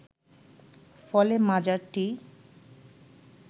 ফলে মাজারটি